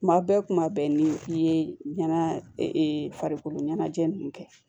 Kuma bɛɛ kuma bɛɛ ni i ye ɲɛna farikolo ɲɛnajɛ nunnu kɛ